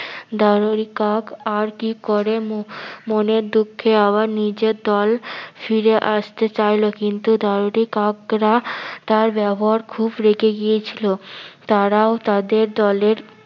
দারুরি কাক আর কি করে মনের দুক্ষে আবার নিজের দল ফিরে আসতে চাইলো কিন্তু দারুরি কাকরা তার ব্যবহার খুব রেগে গিয়েছিলো। তারাও তাদের দলের-